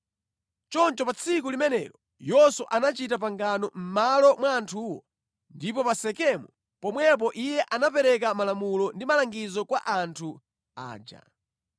Choncho pa tsiku limenelo Yoswa anachita pangano mʼmalo mwa anthuwo, ndipo pa Sekemu pomwepo iye anapereka malamulo ndi malangizo kwa anthu aja.